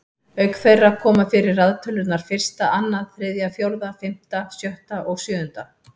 Auk þeirra koma fyrir raðtölurnar fyrsta, annað, þriðja, fjórða, fimmta, sjötta og sjöunda.